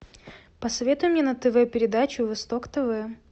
посоветуй мне на тв передачу восток тв